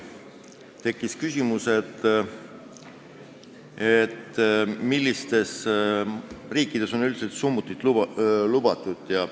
Tekkis küsimus, millistes riikides on üldse summutid lubatud.